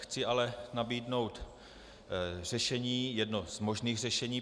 Chci ale nabídnout řešení, jedno z možných řešení.